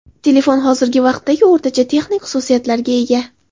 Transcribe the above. Telefon hozirgi vaqtdagi o‘rtacha texnik xususiyatlarga ega.